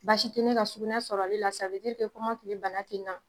Basi ka sugunɛ sɔrɔli la bana te la.